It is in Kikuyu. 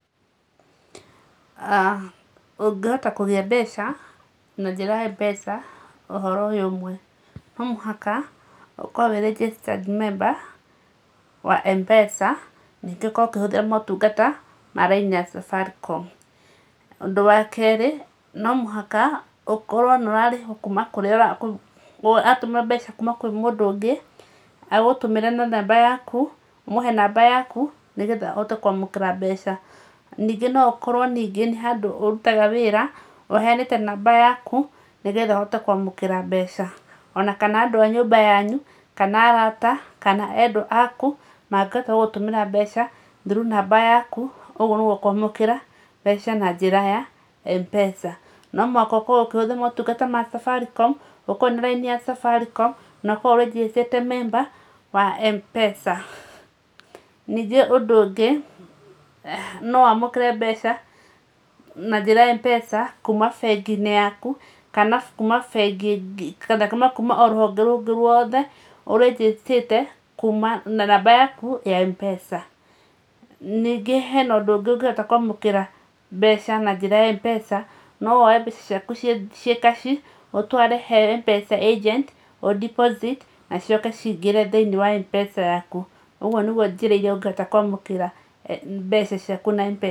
Ũngĩhota kũgĩa mbeca na njĩra ya Mpesa na ũhoro ũyũ ũmwe, no mũhaka ũkorwo wĩ registered member wa Mpesa ningĩ ũkorwo ũkĩhũthĩra motungata ma raini ya Safaricom, ũndũ wa kerĩ no mũhaka ũkorwo nĩ ũrarĩhwo kuma, nĩ ũrarĩhwo kuma na mũndũ ũngĩ agũtũmĩra mbeca na namba yaku kuma kũrĩ mũndũ ũngĩ, agĩgũtũmĩra na namba yaku, ũmũhe namba yaku nĩgetha ahote kwamũkĩra mbeca. Ningĩ no ũkorwo ningĩ nĩ handũ ũrutaga wĩra ũheanĩte namba yaku, nĩgetha ũhote kwamũkĩra mbeca ona kana andũ a nyũmba yanyu, kana arata kana endwa aku, mangĩhota gũgũtũmĩra mbeca through namba yaku, ũguo nĩguo ũkwamũkĩra mbeca na njĩra ya Mpesa. No mũhaka ũkorwo ũkĩhũthĩra motungata ma Safaricom, ũkorwo wĩna raini ya Safaricom na ũkorwo ũrĩjĩstĩte memba wa Mpesa. Ningĩ ũndũ ũngĩ no wamũkĩre mbeca na njĩra ya Mpesa kuma bengi-inĩ yaku kana kuma o rũhonge rũngĩ rwothe ũrĩnjĩstĩte kuma na namba yaku ya Mpesa. Ningĩ hena ũndũ ũngĩ ũngĩhota kwamũkĩra mbeca na njĩra ya Mpesa no woe mbeca ciaku ciĩ cash ũtware he Mpesa Agent ũ deposit na cicoke cingĩte thĩinĩ wa Mpesa yaku, ũguo nĩ njĩra iria ũngĩhota kwamũkĩra mbeca ciaku na Mpesa.